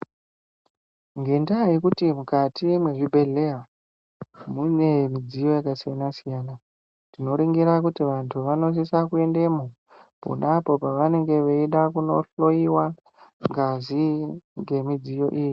Ngendaa uekuti mukati mwezvibhedhleya mune midziyo yakasiyana-siyana, tinoringira kuti vantu vanosisa kuendemo pona apo pevanenge veida kunohloyiwa ngazi ngemidziyo iyi.